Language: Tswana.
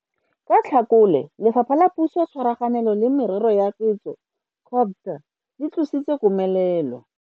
Ka Tlhakole, Lefapha la Puso tshwaraganelo le Merero ya Setso COGTA le tlositse komelelo.